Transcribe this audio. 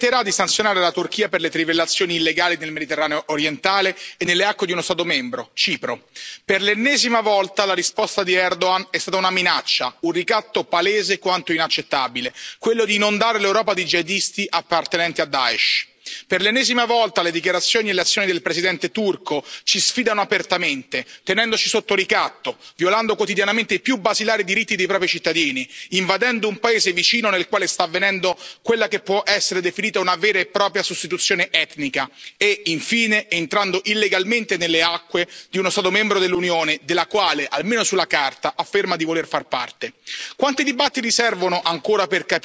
Signora Presidente, onorevoli colleghi, lunedì il Consiglio ha annunciato un quadro di misure restrittive, che permetterà di sanzionare la Turchia per le trivellazioni illegali nel Mediterraneo orientale e nelle acque di uno Stato membro, Cipro. Per l'ennesima volta, la risposta di Erdogan è stata una minaccia, un ricatto palese quanto inaccettabile, quello di non dare all'Europa i jihadisti appartenenti a Daesh. Per l'ennesima volta le dichiarazioni e le azioni del Presidente turco ci sfidano apertamente, tenendoci sotto ricatto, violando quotidianamente i più basilari diritti dei propri cittadini, invadendo un paese vicino, nel quale sta avvenendo quella che può essere definita una vera e propria sostituzione etnica e, infine, entrando illegalmente nelle acque di uno Stato membro dell'Unione, della quale, almeno sulla carta, afferma di voler far parte.